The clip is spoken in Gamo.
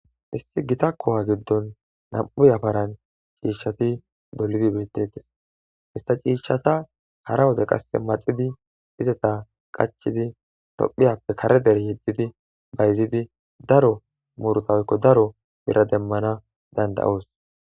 Issi gita kuha gidon ci'ishati na'mu yafara gigon dolidi betetes ista ci'shata hara wode maxidi izata qachidi tophiyappe kare dere yegidi bayizidi daro muruta woyiko daro bira demanawu dandayos